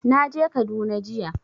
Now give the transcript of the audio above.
Na je Kaduna jiya